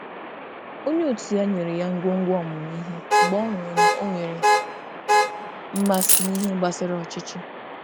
Onye ọrụ ibe ya kesara ya ihe mmụta mgbe ọ hụrụ na o nwere mmasị n’ịmụba ikike ndú.